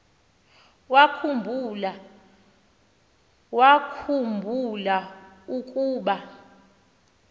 wakhu mbula ukuba